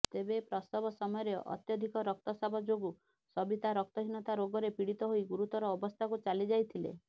ତେବେ ପ୍ରସବ ସମୟରେ ଅତ୍ୟଧିକ ରକ୍ତସ୍ରାବ ଯୋଗୁଁ ସବିତା ରକ୍ତହୀନତା ରୋଗରେ ପୀଡିତ ହୋଇ ଗୁରୁତର ଅବସ୍ଥାକୁ ଚାଲିଯାଇଥିଲେ